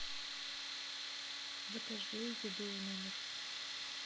закажи еду в номер